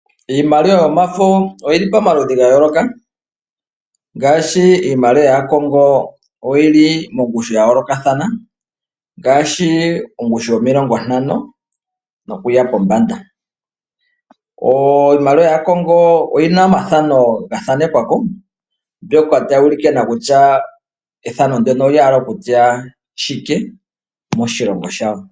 Iimaliwa yomafo oyili pomaludhi ngayoloka, ngashi iimaliwa ya Kongo oyili mongushu yayoloka thana ngashi ongushu yomilongo tano nokuya pombanda, iimaliwa ya Kongo oyina omathano ngathanekwako mbyoka tayulike nokutya ethano ndono lyahala okutya shike moshilongo shawo.